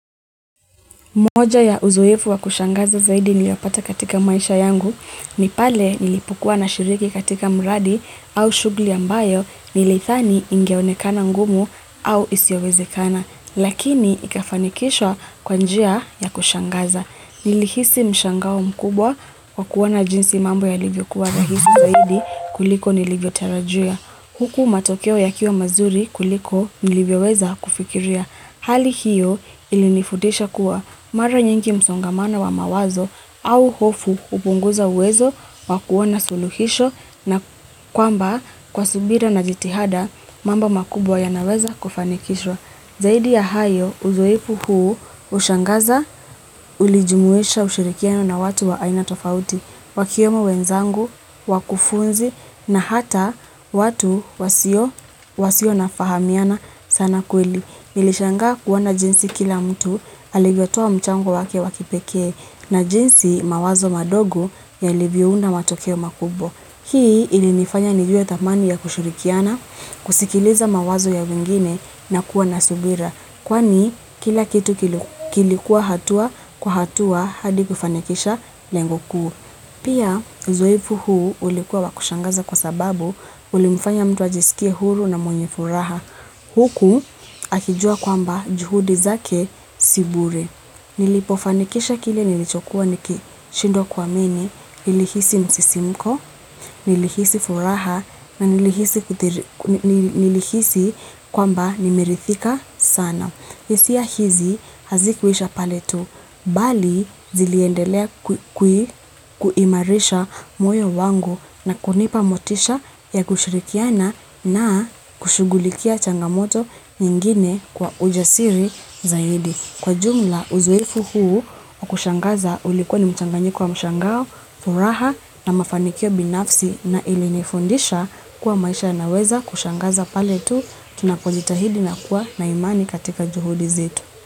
Moja ya uzoefu wa kushangaza zaidi niliopata katika maisha yangu, ni pale nilipokua nashiriki katika mradi au shughuli ambayo nilidhani ingeonekana ngumu au isiowezekana. Lakini ikafanikishwa kwa njia ya kushangaza. Nilihisi mshangao mkubwa, wa kuona jinsi mambo yalivyokuwa rahisi zaidi, kuliko nilivyotarajia. Huku matokeo ya kiwa mazuri kuliko nilivyoweza kufikiria. Hali hiyo ilinifundisha kuwa, mara nyingi msongamana wa mawazo au hofu hupunguza uwezo wa kuona suluhisho na, kwamba kwa subira na jitihada mambo makubwa yanaweza kufanikishwa. Zaidi ya hayo, uzoefu huu hushangaza, ulijumuisha ushirikiano na watu wa aina tofauti, wakiwemo wenzangu, wakufunzi, na hata watu wasio nafahamiana sana kweli. Nilishangaa kuona jinsi kila mtu, alivyotoa mchango wake wakipekee, na jinsi mawazo madogo yalivyounda matokeo makubwa. Hii ilinifanya nijue thamani ya kushirikiana, kusikiliza mawazo ya wengine na kuwa na subira. Kwani kila kitu kilikuwa hatua kwa hatua hadi kufanikisha lengo kuu. Pia uzoefu huu ulikuwa wakushangaza kwa sababu, ulimfanya mtu ajisikie huru na mwenye furaha. Huku akijua kwamba juhudi zake si bure. Nilipofanikisha kile nilichokuwa nikishindwa kuamini, nilihisi msisimko, nilihisi furaha, na nilihisi kwamba nimeridhika sana. HIsia hizi hazikuisha pale tu, bali ziliendelea kuimarisha moyo wangu na kunipa motisha ya kushirikiana na kushughulikia changamoto nyingine kwa ujasiri zaidi. Kwa jumla, uzoefu huu wa kushangaza ulikuwa ni mchanganyiko wa mshangao, furaha na mafanikio binafsi na ilinifundisha kuwa maisha yanaweza kushangaza pale tu tunapojitahidi na kuwa na imani katika juhudi zetu.